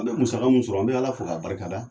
An bɛ musaka mun sɔrɔ, an bɛ Ala fo k'a barika da.